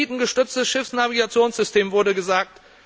Satellitengestütztes Schiffsnavigationssystem wurde gesagt.